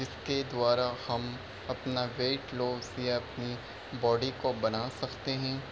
इसके द्वारा हम अपना वेट लॉस या अपनी बॉडी को बना सकते है।